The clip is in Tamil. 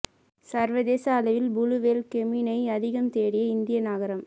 சர்வதேச அளவில் புளூ வேல் கேமினை அதிகம் தேடிய இந்திய நகரம்